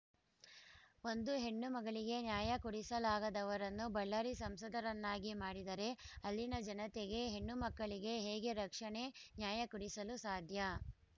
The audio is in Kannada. ಒಂದು ಹೆಣ್ಣುಮಗಳಿಗೆ ನ್ಯಾಯ ಕೊಡಿಸಲಾಗದವರನ್ನು ಬಳ್ಳಾರಿ ಸಂಸದರನ್ನಾಗಿ ಮಾಡಿದರೆ ಅಲ್ಲಿನ ಜನತೆಗೆ ಹೆಣ್ಣುಮಕ್ಕಳಿಗೆ ಹೇಗೆ ರಕ್ಷಣೆ ನ್ಯಾಯ ಕೊಡಿಸಲು ಸಾಧ್ಯ